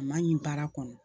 A ma ɲin baara kɔnɔ